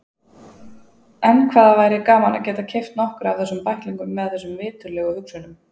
En hvað væri gaman að geta keypt nokkra af þessum bæklingum með þessum viturlegu hugsunum.